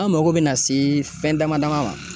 An mago bina se fɛn dama dama dɔ ma